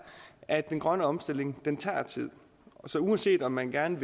at den grønne omstilling tager tid uanset om man gerne